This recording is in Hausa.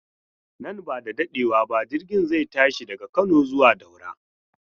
Nan bada dadewa ba jirgin zai tashi daga Kano zuwa Daura.